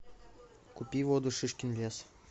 купи воду шишкин лес